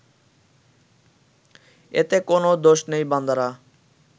এতে কোনও দোষ নেই বান্দারা